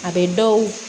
A bɛ dɔw